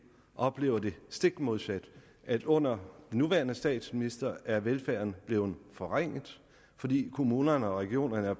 oplever det stik modsatte at under den nuværende statsminister er velfærden blevet forringet fordi kommunerne og regionerne er